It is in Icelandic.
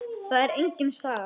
Það er engin saga.